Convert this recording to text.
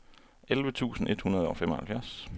elleve tusind et hundrede og femoghalvfjerds